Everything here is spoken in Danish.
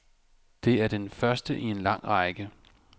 Det er den første i en lang række.